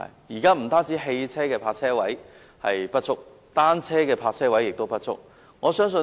現時不單汽車的泊車位不足，單車的泊車位同樣不足。